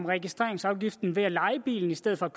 registreringsafgiften ved at leje bilen i stedet for